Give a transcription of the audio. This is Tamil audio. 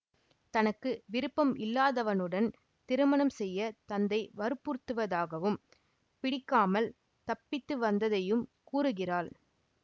தனக்கு விருப்பம் இல்லாதவனுடன் திருமணம் செய்ய தந்தை வற்புறுத்துவதாகவும் பிடிக்காமல் தப்பித்து வந்ததையும் கூறுகிறாள்